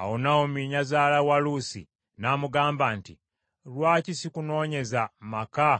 Awo Nawomi nnyazaala wa Luusi n’amugamba nti, “Lwaki sikunoonyeza maka